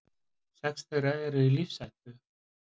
Sex þeirra eru í lífshættu